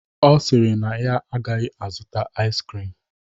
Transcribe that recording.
Ọ sịrị na ya agaghị azụta ais krim